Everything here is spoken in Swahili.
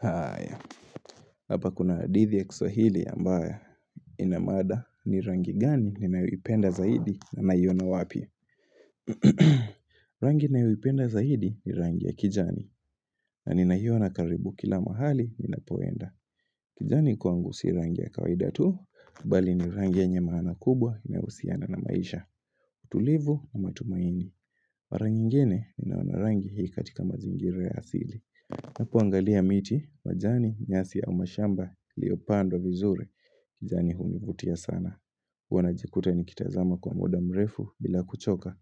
Haya, hapa kuna hadithi ya kiswahili ambayo Inamada ni rangi gani ni nayoipenda zaidi na naiona wapi? Rangi ni ninayoipenda zaidi ni rangi ya kijani. Na ninaiona karibu kila mahali ni ninapoenda. Kijani kwangu si rangi ya kawaida tu, bali ni rangi yenye maana kubwa ihusiana na maisha. Tulivu na matumaini. Mara nyingine ninaona rangi hii katika mazingira ya asili. Na kuangalia miti, majani, nyasi au mashamba iliyopandwa vizuri kijani hunivutia sana Huwa najikuta nikitazama kwa muda mrefu bila kuchoka